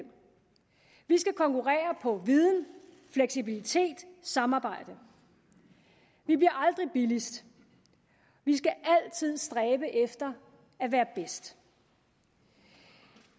skal konkurrere på viden fleksibilitet og samarbejde vi bliver aldrig billigst vi skal altid stræbe efter at være bedst